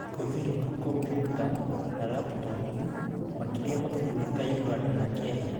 ũhũthĩri wa kompiuta na laptopu, makĩria mabũrũri ta Uganda na Kenya.